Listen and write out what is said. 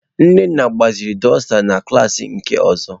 Nnenna gbaziri dusta ndi klas nke ozo.